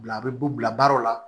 Bila a bɛ bu bila baaraw la